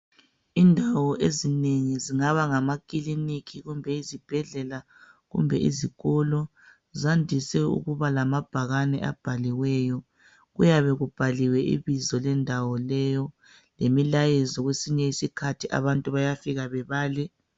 Indawo ezinengi zingaba ngamakilinikhi kumbe izibhedlela kumbe izikolo zandise ukuba lamabhakane abhaliweyo kuyabe kubhaliwe ibizo lendawo leyo lemilayezo kwesinye isikhathi abantu bayafika bebale.